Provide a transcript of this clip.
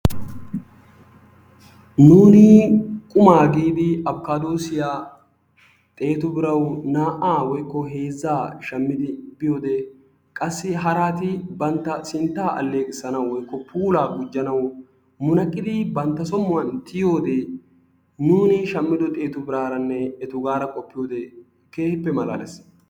Nuuni qumaa giidii afikaadoossiya xeetu birawu naa"aa woykko heezzaa shammidi biyode qassi haraati bantta sintta alleeqissanawu woykko puulaa gujjanawu munaqqidi bantta som"uwan tiyiyode nuuni shammido xeetu biraaranne etuugaara qoppiyode keehippe malaalees.